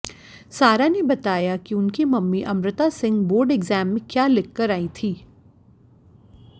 सारा ने बताया कि उनकी mummy Amrita Singh board exam में क्या लिखकर आई थीं